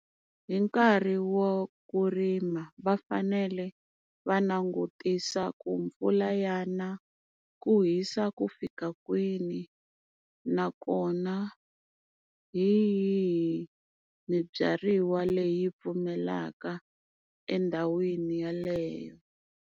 Hi nkarhi wa ku rima vafanele va langutisa ku mpfula ya na, ku hisa ku fika kwini, nakona hi yihi mibyariwa leyi pfumelaka endhawini yaleyo.